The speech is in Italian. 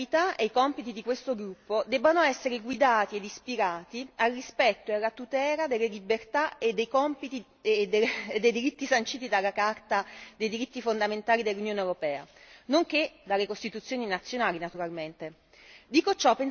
Ritengo che l'attività e i compiti di questo gruppo debbano essere guidati ed ispirati al rispetto e alla tutela delle libertà e dei diritti sanciti dalla Carta dei diritti fondamentali dell'Unione europea, nonché dalle Costituzioni nazionali, naturalmente.